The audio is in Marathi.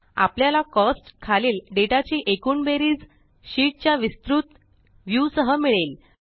आपल्याला कोस्ट्स खालील डेटा ची एकूण बेरीज शीट च्या विस्तृत व्यू सह मिळेल